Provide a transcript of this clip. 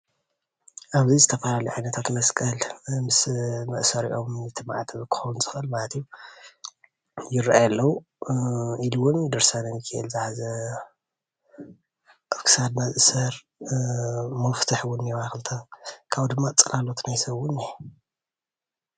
ኣብ'ዚ ዝተፈላለዩ ዓነታት መስቀል ምስ መእሰሪኦም ማዕተብ ክከውን ዝክእል ማለት እዩ ይራኣዩ ኣለዉ፡፡ ኢሉ እውን ድረሳነ ሚካኤል ዝሓዘ ኣብ ክሳድና ዝእሰር መፍቱሕ እውን እንአዋ ክልተ ካብኡ ድማ ፅላሎት ናይ ሰብ እውን እንኤ፡፡